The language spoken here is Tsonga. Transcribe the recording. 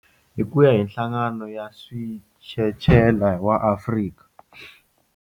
Hi ku ya hi Nhlangano wa Switshetshela wa Afrika.